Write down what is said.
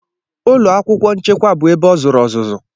Ụlọ akwụkwọ nchekwa bụ ebe ọ zụrụ ọzụzụ.